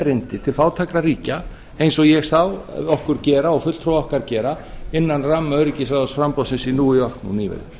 erindi til fátækra ríkja eins og ég sá okkur gera og fulltrúa okkar gera innan ramma öryggisráðsframboðsins í new york nú nýverið